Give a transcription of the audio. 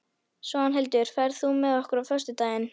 Svanhildur, ferð þú með okkur á föstudaginn?